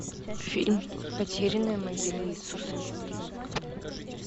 фильм потерянная могила иисуса